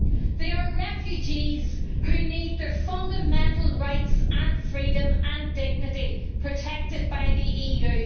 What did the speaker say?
They are refugees who need their fundamental rights, and freedom, and dignity protected by the EU.